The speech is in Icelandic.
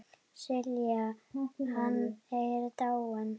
Silla, hann er dáinn.